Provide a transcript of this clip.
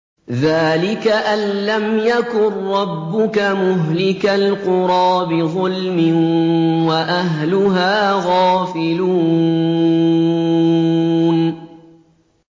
ذَٰلِكَ أَن لَّمْ يَكُن رَّبُّكَ مُهْلِكَ الْقُرَىٰ بِظُلْمٍ وَأَهْلُهَا غَافِلُونَ